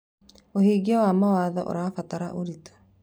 ũhingia wa mawatho ũrabatara ũritũ.